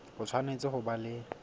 o tshwanetse ho ba le